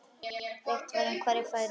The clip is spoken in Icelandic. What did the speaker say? Rætt var um hverjir færu.